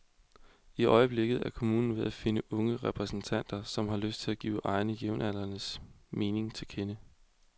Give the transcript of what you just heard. I øjeblikket er kommunen ved at finde unge repræsentanter, som har lyst til at give egne og jævnaldrendes mening til kende.